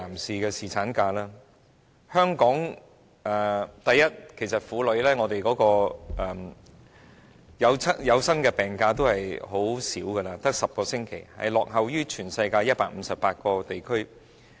首先，香港婦女可享有的有薪產假其實是很短的，只有10星期，落後於全世界158個地區。